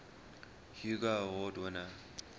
hugo award winner